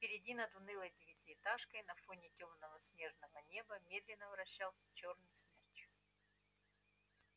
впереди над унылой девятиэтажкой на фоне тёмного снежного неба медленно вращался чёрный смерч